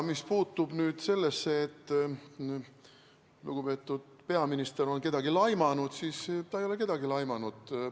Mis puutub sellesse, et lugupeetud peaminister on kedagi laimanud, siis ta ei ole kedagi laimanud.